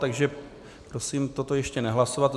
Takže prosím toto ještě nehlasovat.